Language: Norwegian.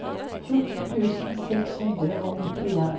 fjorten tusen seks hundre og nittien